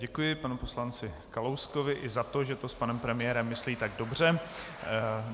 Děkuji panu poslanci Kalouskovi i za to, že to s panem premiérem myslí tak dobře.